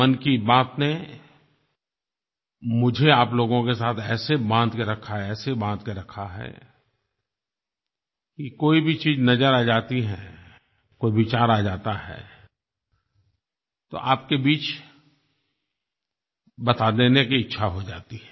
मन की बात ने मुझे आप लोगों के साथ ऐसे बाँध के रखा है ऐसे बाँध के रखा है कि कोई भी चीज़ नज़र आ जाती है कोई विचार आ जाता है तो आपके बीच बता देने की इच्छा हो जाती है